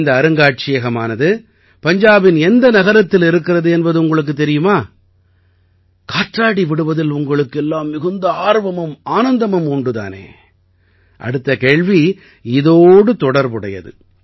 இந்த அருங்காட்சியகமானது பஞ்சாபின் எந்த நகரத்தில் இருக்கிறது என்பது உங்களுக்குத் தெரியுமா காற்றாடி விடுவதில் உங்களுக்கு எல்லாம் மிகுந்த ஆர்வமும் ஆனந்தமும் உண்டு தானே அடுத்த கேள்வி இதோடு தொடர்புடையது